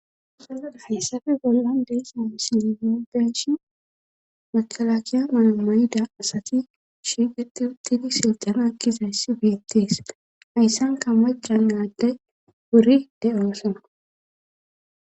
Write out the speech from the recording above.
Hayssafe bollan deesha silemoobeshi makalaakiya maamayida asati shiigeti uttidi silxana kizays sifeettes hayssanka ma jannaadde wuri de7oosona